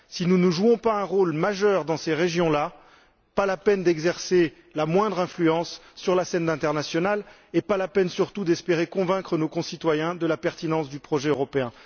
Si nous ne jouons pas un rôle majeur dans ces régions là, ce n'est pas la peine d'exercer la moindre influence sur la scène internationale ni, surtout, d'espérer convaincre nos concitoyens de la pertinence du projet européen.